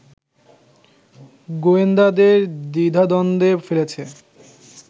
গোয়েন্দাদের দ্বিধাদ্বন্দ্বে ফেলেছে